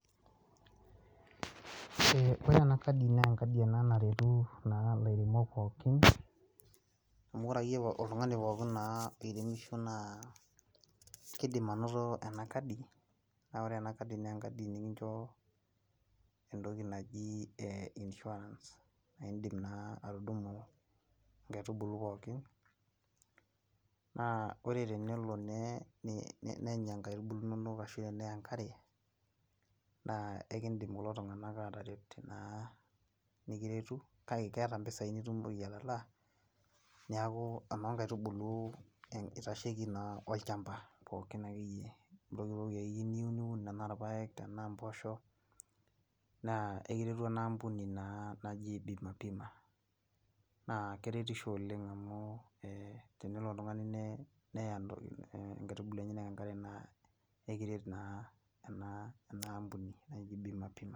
ore ena kadi naa enkadi ena naretu naa ilairemok pookin. amu ore naa oltungani akeyie pookin naa oiremishe naa kidim anoto ena kadi, naa ore ena kadi naa enkadi nikincho entoki naji insurance naa idi naa atundung'u inkaitubulu pookin, na ore tenelo nenya nkaitubulu inonok ashu eneya enkare. naa ekidim kulo tunganak aataret naa nikiretu. kake keeta mpisai nitala. neku eoo nkaitubulu itasheki naa olchampa pookin akeyieyie. entoki akyie pookin ake niyieu niun, tenaa irpaek tenaa mpoosho naa ekiretu ena ampuni naa naji bima pima. naa keretisho oleng amu tenelo oltungani neya nkaitubulu enyenak enkare naa ekiret naa ena ampuni naji bima pima.